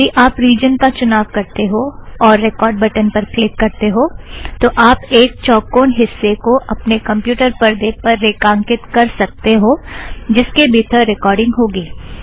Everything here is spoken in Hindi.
यदी आप रिजन का चुनाव करते हो और रेकॉर्ड़ बटन पर क्लिक करते हो तो आप एक चौकोन हिस्से को अपने कमप्युटर परदे पर रेखांकित कर सकते हो जिसके भीतर रेकॉर्ड़ींग होगी